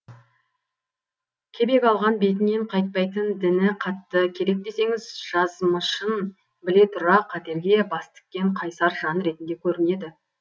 кебек алған бетінен қайтпайтын діні қатты керек десеңіз жазмышын біле тұра қатерге бас тіккен қайсар жан ретінде көрінеді